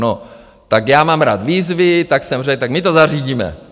- No, tak já mám rád výzvy, tak jsem řekl: Tak my to zařídíme.